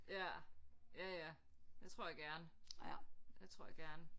Ja ja ja det tror jeg gerne det tror jeg gerne